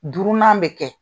Duurunan be kɛ.